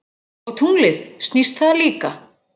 Og tunglið, snýst það líka?